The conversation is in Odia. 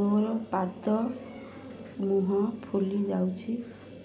ମୋର ପାଦ ମୁହଁ ଫୁଲି ଯାଉଛି